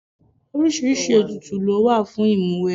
Oríṣiríṣi ètùtù lówà fún ìmúwẹgbẹ́.